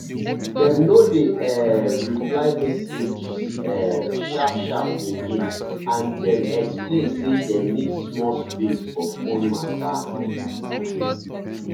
dem no dey um reply message um sharp sharp again and dem explain say dem need small space for phone matter.